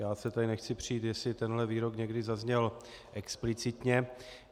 Já se tady nechci přít, jestli tenhle výrok někdy zazněl explicitně.